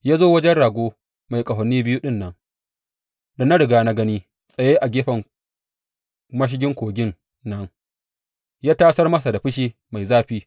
Ya zo wajen rago mai ƙahoni biyu ɗin nan da na riga na gani tsaye a gefen mashigin kogin nan ya tasar masa da fushi mai zafi.